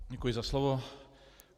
Děkuji za slovo.